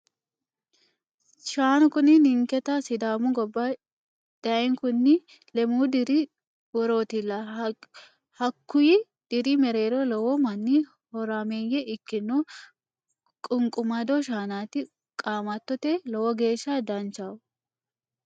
Shaanu kuni ninketta sidaami gobba dayinkunni lemu diri worotilla hakkuyi diri mereero lowo manni horameye ikkino ququmado shaanati qamatote lowo geeshsha danchaho.